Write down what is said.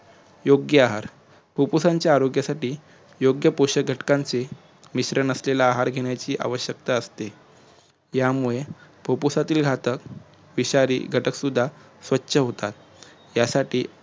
योग्य आहार फुप्फुसाच्या आरोग्यासाठी योग्य पोषक घटकांचे मिश्रण असलेला आहार घेण्याची आवश्यकता असते यामुळे फुप्फुसातील घातक विषारी घटक सुद्धा स्वछ होतात त्यासाठी